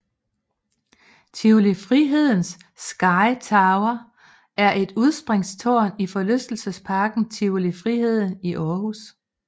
Tivoli Frihedens Sky Tower er et udspringstårn i forlystelsesparken Tivoli Friheden i Aarhus